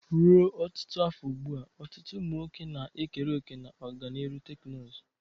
Ruo ọtụtụ afọ ugbu a, ọtụtụ ụmụ nwoke na-ekere òkè na ọganihu teknụzụ.